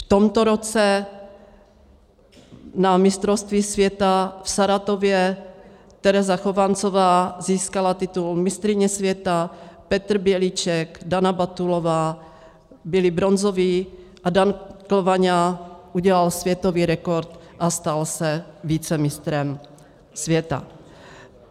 V tomto roce na mistrovství světa v Saratově, Tereza Chovancová získala titul mistryně světa, Petr Bělíček, Dana Batulová byli bronzoví a Dan Klvaňa udělal světový rekord a stal se vicemistrem světa.